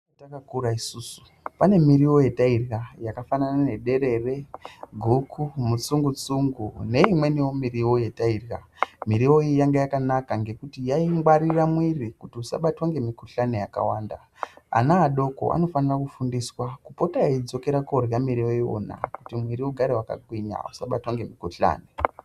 Takakura isusu pane miriwo yetairya yakafanana nederere, guku mutsungutsungu neimweniwo miriwo yetairya, Miriwo iyi yanga yakanaka ngekuti yaingwarira mwiiri kuti usabatwa ngemikuhlani yakawanda. Ana adoko anofane kufundiswa kupota eidzokera koorye miriwo iyona kuti mwiiri usabatwa ngehosha.